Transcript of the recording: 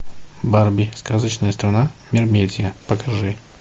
барби сказочная страна мермедия покажи